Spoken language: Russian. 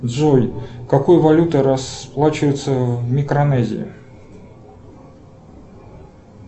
джой какой валютой расплачиваются в микронезии